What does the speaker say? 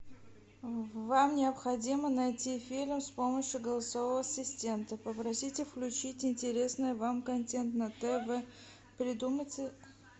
вам необходимо найти фильм с помощью голосового ассистента попросите включить интересное вам контент на тв придумайте